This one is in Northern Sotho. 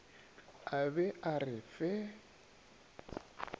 a be a re fe